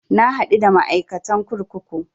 Na haɗu da ma'aikatan kurkuku